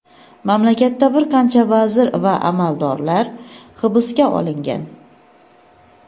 Mamlakatda bir qancha vazir va amaldorlar hibsga olingan.